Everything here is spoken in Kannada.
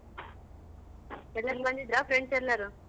ಎಲ್ಲರ್ ಬಂದಿದ್ರ friends ಎಲ್ಲರು?